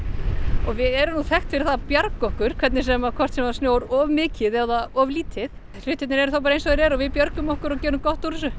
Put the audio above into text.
og við erum þekkt fyrir að bjarga okkur hvort sem hvort sem það snjóar of mikið eða of lítið hlutirnir eru þá bara eins og þeir eru og við björgum okkur og gerum gott úr þessu